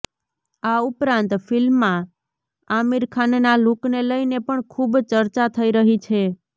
આ ઉપરાંત ફિલ્માં આમિર ખાનના લૂકને લઈને પણ ખૂબ ચર્ચા થઈ રહી છે